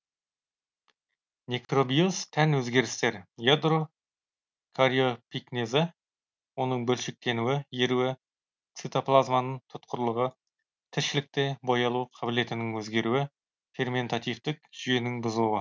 некробиоз тән өзгерістер ядро кариопикнезі оның бөлшектенуі еруі цитоплазманың тұтқырлығы тіршілікте боялу қабілетінің өзгеруі ферментативтік жүйенің бұзылуы